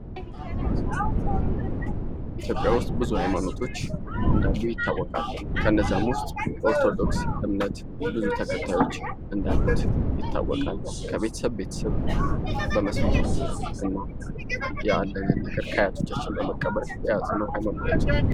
ኢትዮጵያ ውስጥ ብዙ አይማኖቶች እንዳሉ ይታወቃል ከነዚያ ውስጥ የኦርቶዶክስ እምነት ብዙ ተከታዮች እንዳሉት ይታወቃል ከቤተሰብ ቤተሰብ በመስማማት ያለንን ነገር ከአያቶቻችን በመቀበል የያዝነው ሃይማኖታችን ነው ::